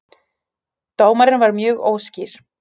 Dómarinn var mjög óskýr